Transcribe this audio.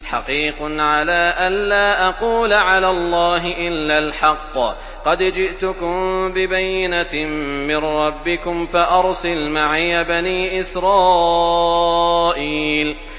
حَقِيقٌ عَلَىٰ أَن لَّا أَقُولَ عَلَى اللَّهِ إِلَّا الْحَقَّ ۚ قَدْ جِئْتُكُم بِبَيِّنَةٍ مِّن رَّبِّكُمْ فَأَرْسِلْ مَعِيَ بَنِي إِسْرَائِيلَ